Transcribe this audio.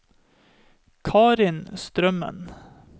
Karin Strømmen